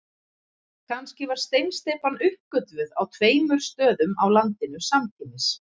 Kannski var steinsteypan uppgötvuð á tveimur stöðum á landinu samtímis.